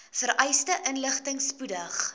vereiste inligting spoedig